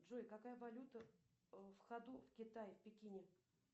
джой какая валюта в ходу в китае в пекине